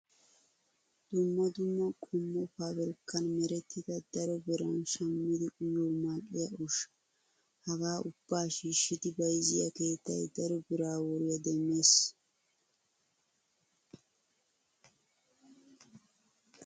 Dumma dumma qommo pabirkkan marettida daro biran shammidi uyiyoo mal''iyaa ushshaa. Hgaa ubbaa shiishshidi bayizziyoo keettayi daro biraa woriyaa demmes.